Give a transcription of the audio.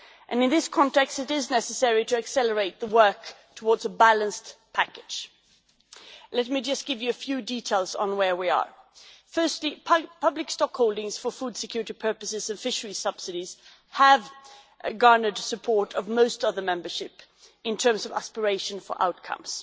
In this context it is necessary to accelerate the work towards a balanced package. Let me just give you a few details on where we are. Firstly, public stock holdings for food security purposes and fisheries subsidies have garnered support of most of the membership in terms of aspiration for outcomes.